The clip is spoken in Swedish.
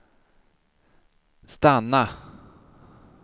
stanna